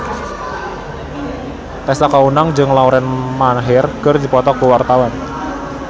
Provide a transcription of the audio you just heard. Tessa Kaunang jeung Lauren Maher keur dipoto ku wartawan